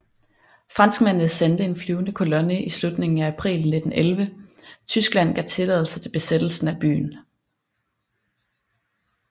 Franskmændene sendte en flyvende kolonne i slutningen af april 1911 Tyskland gav tilladelse til besættelsen af byen